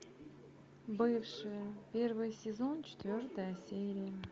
бывшие первый сезон четвертая серия